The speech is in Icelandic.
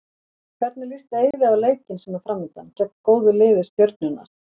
Hvernig líst Eiði á leikinn sem er framundan, gegn góðu lið Stjörnunnar?